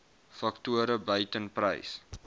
faktore buiten prys